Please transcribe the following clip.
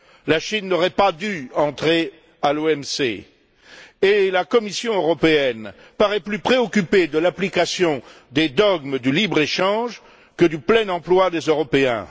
La Chine n'aurait pas dû entrer à l'OMC, et la Commission européenne paraît plus préoccupée de l'application des dogmes du libre échange que du plein emploi des Européens.